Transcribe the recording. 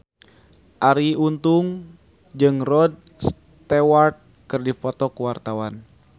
Arie Untung jeung Rod Stewart keur dipoto ku wartawan